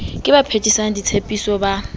ke ba phethisang ditshepiso ba